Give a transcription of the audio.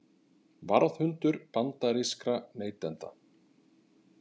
Varðhundur bandarískra neytenda